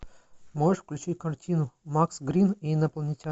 можешь включить картину макс грин и инопланетяне